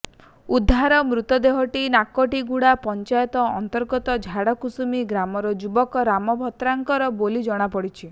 ଉଦ୍ଧାର ମୃତଦେହଟି ନାକଟିଗୁଡା ପଞ୍ଚାୟତ ଅନ୍ତର୍ଗତ ଝାଡ଼କୁସୁମୀ ଗ୍ରାମର ଯୁବକ ରାମ ଭତ୍ରାଙ୍କର ବୋଲି ଜଣାପଡିଛି